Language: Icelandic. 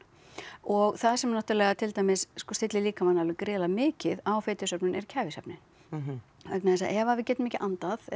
og það sem er náttúrulega til dæmis stillir líkamann alveg gríðarlega mikið á fitusöfnun er kæfisvefninn vegna þess að ef að við getum ekki andað